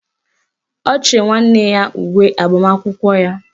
Ọ chịrị nwanne ya uwe agbamakwụkwọ ya.